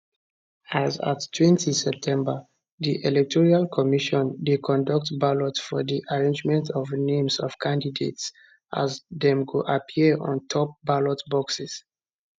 as attwentyseptember di electoral commission dey conduct ballot for di arrangement of names of candidates as dem go appear on top ballot boxes